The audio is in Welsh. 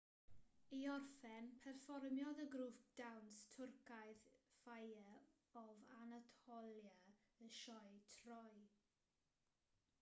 i orffen perfformiodd y grŵp dawns twrcaidd fire of anatolia y sioe troy